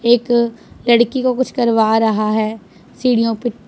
एक लड़की को कुछ करवा रहा है सीढ़ियों पे --